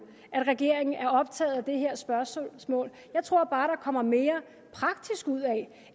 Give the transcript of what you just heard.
at regeringen er optaget af det her spørgsmål jeg tror bare der kommer mere praktisk ud af